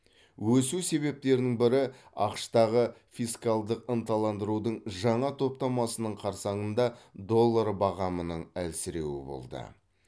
өсу себептерінің бірі ақш тағы фискалдық ынталандырудың жаңа топтамасының қарсаңында доллар бағамының әлсіреуі болды